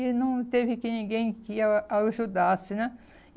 E não teve que ninguém que a ajudasse, né?